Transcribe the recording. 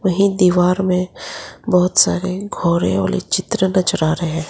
नहीं दीवार में बहोत सारे घोड़े वाले चित्र नजर आ रहे है।